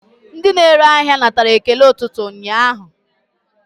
Ndị na-ere ahịa natara ekele ụtụtụ ụnyaahụ.